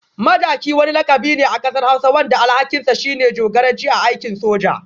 Madaki wani lakabi ne a kasar hausa wanda alhakinsa shine jagoranci a aikin soja.